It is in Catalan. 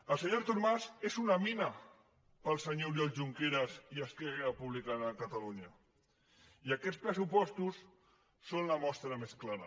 el senyor artur mas és una mina per al senyor oriol junqueras i esquerra republicana de catalunya i aquests pressupostos en són la mostra més clara